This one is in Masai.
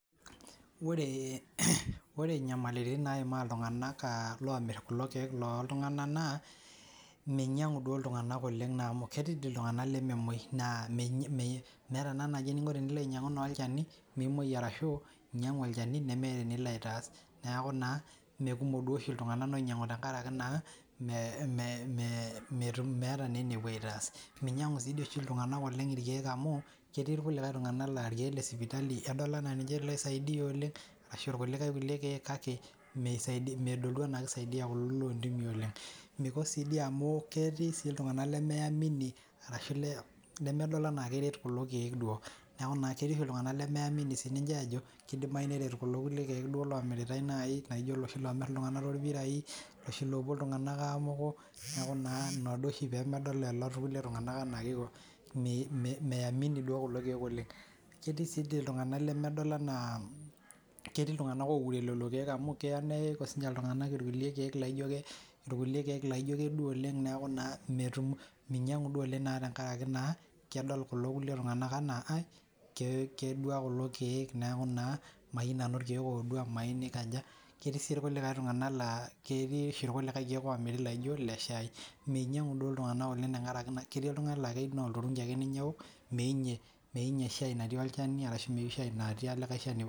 Ore inyamailitin naima iltung'anak aa loomirr kulo kiek loo ltung'anak naa meinyang'u duo iltung'anak duo oleng' naa amu ketii dii iltung'anak lememoi naa meeta naa naji eniniko tenilo ainyang'u naa olchani mimoi arashuu inyang'u olchani nemeeta enilo aitaas neeku naa mee kumok duo oshii iltung'anak loinyang'u tengaraki naa meeta naa enepuo aitaas, meinyang'u dii oshi iltung'anak oleng' irkiek amu ketii irkulikae tung'anak laa irkiek le sipitali edol anaa ninche loisaidia oleng' arashuu aa rkulikae kulie kiek kake meidol duo enaa kesisaidia kulo loo ntimii oleng', meiko sii dii amu ketii sii iltung'anak lemeyamini arashu lemedol enaa keret kulo kiek duoo neeku naa keti oshi iltung'anak lemeamini sininche aajo keidimayu neret kulo kiek omirritae nayii naijo iloshii oomirr iltung'anak toorpirai iloshi loopui iltung'anak aamuku neeku naa inaa duo oshii peemedol lelo kule tung'anak enaa keiko meamini duo kulo kiek oleng',keeti taa oshi iltung'anak lemedol enaa ketii iltung'anak odol enaa kedua lelo kiek amu keya nayau sinche iltung'anak irkulie kiek laijo kedua oleng' neeku naa metum meinyang'u naa duo oleng' tenkaraki naa kedol kulo kulie tung'anak enaa kedua kulo kiek neeku naa mayieu nanu irkiek oodua, mayieu nikaja ketii sii tung'anak laa ketiioshii kulikae kiek loomirri laiji ile shaii, meinyang'u duo irkulie tung'anak oleng' tenkaraki ketii laa keyeu naa olturungi ake ninche eewok, meyeu ninye shaii natii olchani arashu metiu shaii natii olikae shani.